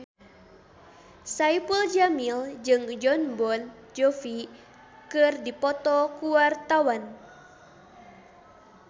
Saipul Jamil jeung Jon Bon Jovi keur dipoto ku wartawan